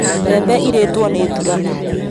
Mbembe irĩtwo nĩ thuraku